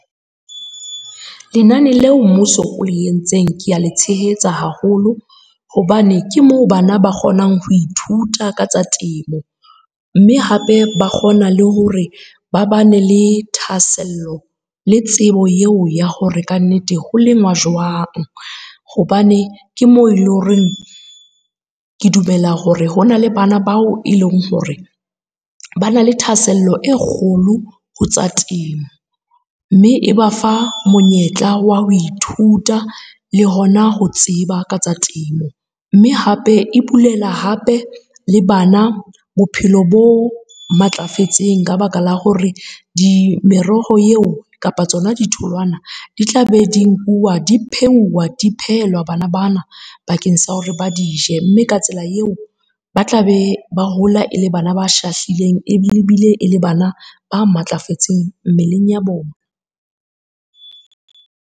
Lenane leo mmuso o le entseng ke a le tshehetsa haholo hobane ke moo bana ba kgonang ho ithuta ka tsa temo. Mme hape ba kgona le hore ba ba ne le thahasello le tsebo eo ya hore kannete ho lenngwa jwang. Hobane ke moo eleng hore, ke dumela hore ho na le bana bao e leng hore ba na le thahasello e kgolo ho tsa temo. Mme e ba fa monyetla wa ho ithuta le hona ho tseba ka tsa temo, mme hape e bulela hape le bana bophelo bo matlafetseng ka baka la hore meroho eo kapa tsona ditholwana, di tla be di nkuwa di pheuwa, di phehelwa bana bana bakeng sa hore ba di je. Mme ka tsela eo ba tla be ba hola e le bana ba shahlileng ebile e le bana ba matlafetseng mmeleng ya bona.